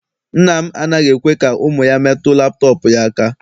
Nna m anaghị ekwe ka ụmụ ya metụ laptọọpụ ya aka.